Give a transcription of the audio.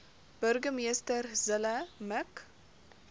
burgemeester zille mik